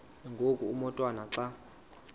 ngoku umotwana xa